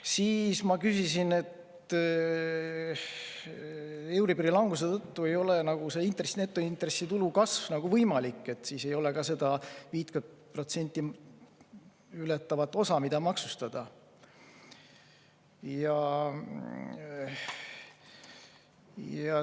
Siis ma küsisin selle kohta, et euribori languse tõttu ei ole netointressitulu kasv nagu võimalik ja siis ei ole ka seda 50% ületavat osa, mida maksustada.